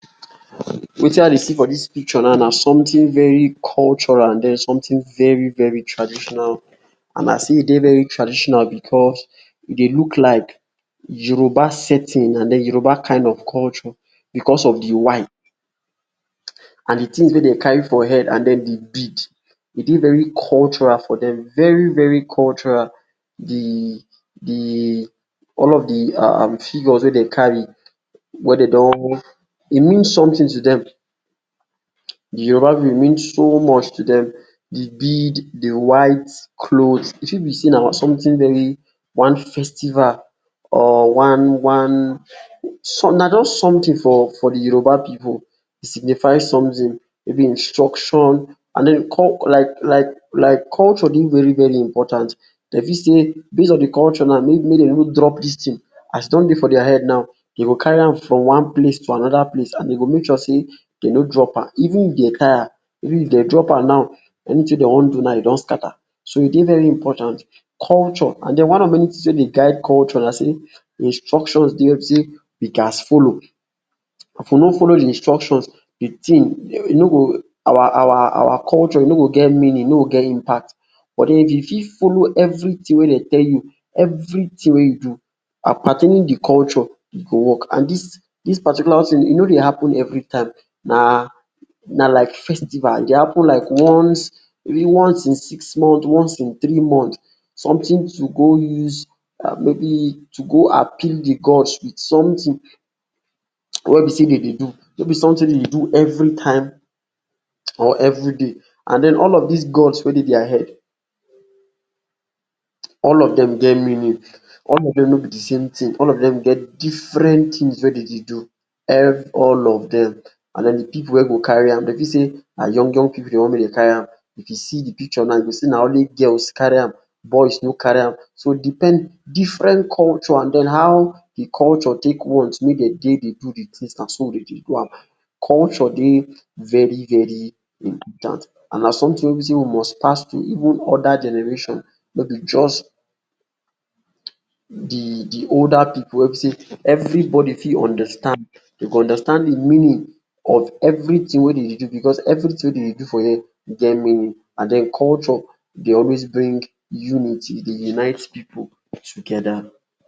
Wetin I dey see for dis picture now na something very cultural and den something very very traditional and as e dey traditional becos e dey look like Yoruba setting and den Yoruba kind of culture becos of de white and de things wey dem carry for head and den de bead, e dey very cultural for dem, very very cultural. De de, all of de figures wey dem carry wey dey don, e mean something to dem, de Yoruba pipu, e mean so much to dem. De bead, de white cloth e fit be sey na something very, one festival, or one one, na just something for for de Yoruba pipu. E signify something, maybe instruction and den like like like culture dey very very important dey fit say, based on de culture now, make dem no drop dis thing. As e don dey for dia head now, dem go carry am from one place to another place and dey go make sure sey dey no drop am, even if dey tire, if dey drop am now, anything wey dey want do now, e don scatter, so e dey very important. Culture and den one of de many things wey dey guide culture na sey, de instructions dey wey be sey we gats follow. If we no follow de instructions, de thing, e no go, our our culture ,e no get meaning, e no go get impact but if you fit follow everything wey dey tell you, everything wey you do pertaining de culture, e go work and dis dis particular thing, e no dey happen everytime, na na like festival, e dey happen like once maybe once in six months, once in three months something to go use, maybe to go appeal de gods with something wey be sey dey dey do, no be something wey be sey dey dey do everytime or everyday and den all of dis gods wey dey dia head, all of dem get meaning, all of dem no be de same thing, all of dem get different things wey dey dey do all of dem and den de pipu wey go carry am. Dey fit sey na young young pipu dey want make dem carry am. If you see de picture now, you see sey na only girls carry am, boys no carry am. So deepened different culture and den how de culture take want make dey dey, dey do de thing, na so dem dey do am. Culture dey very very important and na something wey be sey we must pass to even other generation, no be just de de older pipu wey be sey everybody fit understand, dey go understand de meaning of everything wey dey do becos everything wey dey dey do for here, e get meaning and den culture dey always bring unity, e dey unite pipu together.